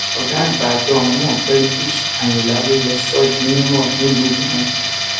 ọgá àgbà àjọ ọhún ọgbẹni ish ayinla ló ló sọ ọ di mímọ nílùú ìlọrin